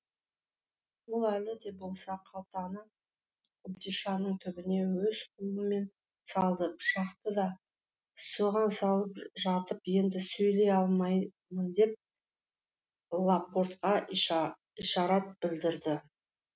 ол әлі де болса қалтаны қобдишаның түбіне өз қолымен салды пышақты да соған салып жатып енді сөйлей алмаймын деп ла портқа ишарат білдірді